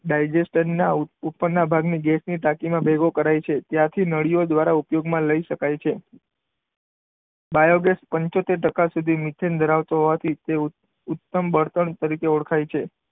ડાયજેસ્ટરના ના ઉપરના ભાગની ગેસની ટાંકીમાં ભેગો કરાય છે. ત્યાંથી નળિયો દ્વારા ઉપયોગમાં લઇ શકાય છે. બાયોગેસ પંચોતેર ટકા મિથેન ધરાવતો હોવાથી તેઓ ઉત્તમ બળતણ તરીકે ઓળખાય છે.